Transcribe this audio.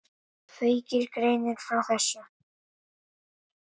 Feykir greinir frá þessu.